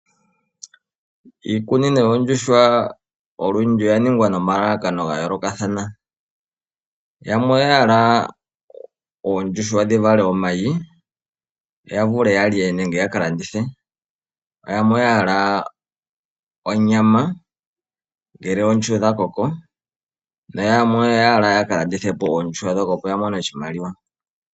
Iikunino yoondjuhwa olundji oya ningwa nomalalakano ga yolokathana. Yamwe oya hala oondjuhwa dhi vale omayi yo yavule yalye nenge yaka landithe, yamwe oyahala onyama ngele oondjuhwa dhakoko noyamwe oya hala yaka landithepo oondjuhwa opo yamone oshimaliwa.